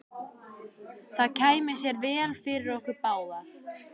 Það kæmi sér vel fyrir okkur báða.